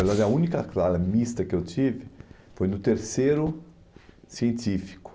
Na verdade, a única classe mista que eu tive foi no terceiro científico.